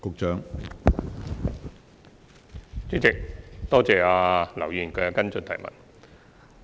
主席，多謝劉議員提出補充質詢。